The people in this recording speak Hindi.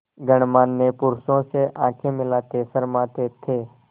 गणमान्य पुरुषों से आँखें मिलाते शर्माते थे